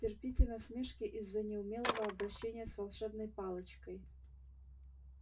терпите насмешки из-за неумелого обращения с волшебной палочкой